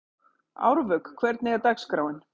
Árvök, hvernig er dagskráin?